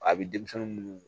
A bɛ denmisɛn minnu